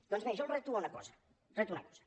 doncs bé jo els reto a una cosa els reto a una cosa